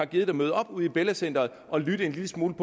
gad møde op ude i bella center og lytte en lille smule